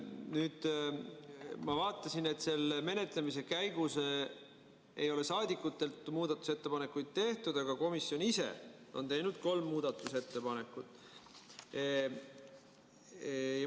Nüüd ma vaatasin, et selle menetlemise käigus ei ole saadikud muudatusettepanekuid tehtud, aga komisjon ise on teinud kolm muudatusettepanekut.